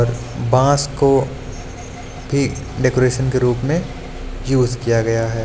Boss को के decoration के रूप में यूज किया गया है।